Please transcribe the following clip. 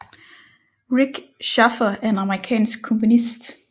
Rik Schaffer er en amerikansk komponist